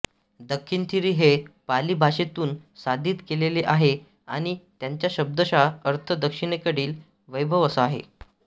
दक्खिणथिरी हे पाली भाषेतून साधित केलेले आहे आणि त्याचा शब्दशः अर्थ दक्षिणेकडील वैभव असा आहे